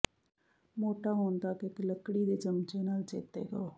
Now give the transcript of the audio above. ਮੋਟਾ ਹੋਣ ਤਕ ਇਕ ਲੱਕੜੀ ਦੇ ਚਮਚੇ ਨਾਲ ਚੇਤੇ ਕਰੋ